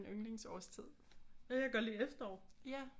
En yndlingsårstid